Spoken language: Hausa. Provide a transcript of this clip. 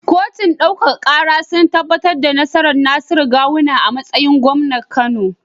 Kotun ɗaukaka kara sun tabbatar da nasarar Nasiru gawuna a matsayin gwamnan kano